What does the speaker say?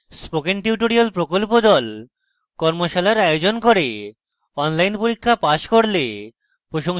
spoken tutorial প্রকল্প the কর্মশালার আয়োজন করে অনলাইন পরীক্ষা পাস করলে প্রশংসাপত্র দেয়